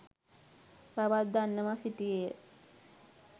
බවත් දන්වා සිටියේය.